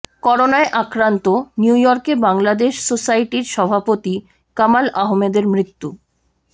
করোনায় আক্রান্ত নিউইয়র্কে বাংলাদেশ সোসাইটির সভাপতি কামাল আহমেদের মৃত্যু